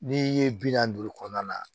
N'i ye bi naani duuru kɔnɔna na